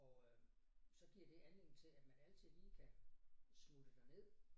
Og øh så giver det anledning til at man altid lige kan smutte derned